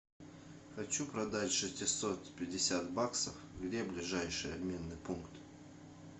хочу продать шестьсот пятьдесят баксов где ближайший обменный пункт